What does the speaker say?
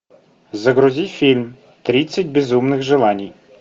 загрузи фильм тридцать безумных желаний